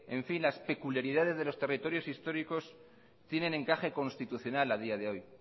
las peculiaridades de los territorios históricos tienen encaje constitucional a día de hoy